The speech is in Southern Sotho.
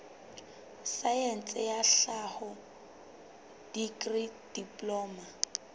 saense ya tlhaho dikri diploma